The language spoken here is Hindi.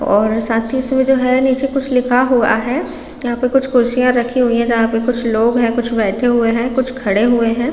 और साथ ही इसमें जो है नीचे कुछ लिखा हुआ है यहाँ पे कुछ कुर्सियॉँ रखी हुई है जहाँ पे कुछ लोग है कुछ बैठे हुए है कुछ खड़े हुए है।